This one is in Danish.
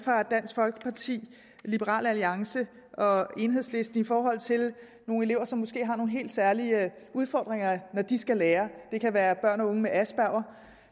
dansk folkeparti liberal alliance og enhedslisten i forhold til elever som måske har nogle helt særlige udfordringer når de skal lære det kan være børn og unge med asperger